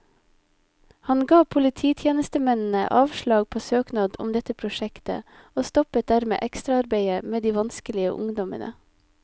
Han ga polititjenestemennene avslag på søknad om dette prosjektet, og stoppet dermed ekstraarbeidet med de vanskelige ungdommene.